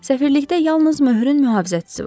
Səfirlikdə yalnız möhürün mühafizəçisi var.